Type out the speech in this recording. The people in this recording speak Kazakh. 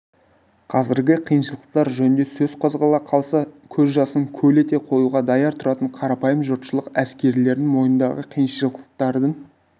қазіргі қиыншылықтар жөнінде сөз қозғала қалса көз жасын көл ете қоюға даяр тұратын қарапайым жұртшылық әскерилердің мойнындағы қиыншылықтардың